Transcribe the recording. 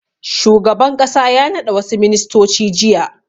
Shugaban ƙasa ya naɗa wasu ministoci jiya.